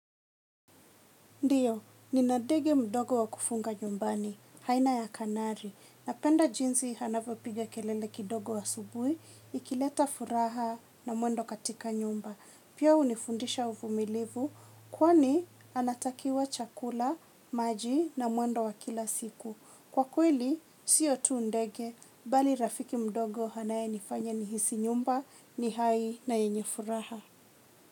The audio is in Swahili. Ndio nina ndege mdogo wa kufunga nyumbani aina ya kanari napenda jinzi hanavopiga kelele kidogo asubui, ikileta furaha na mwendo katika nyumba. Pia hunifundisha uvumilivu, kwani anatakiwa chakula, maji na mwendo wa kila siku. Kwa kweli, siyo tu ndege, bali rafiki mdogo anae nifanya nihisi nyumba, nihai na yenye furaha.